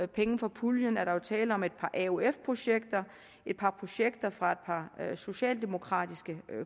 penge fra puljen er der jo tale om et par aof projekter et par projekter fra et par socialdemokratiske